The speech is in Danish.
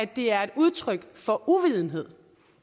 det er et udtryk for uvidenhed